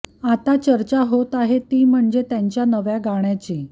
आता चर्चा होत आहे ती म्हणजे त्यांच्या नव्या गाण्याची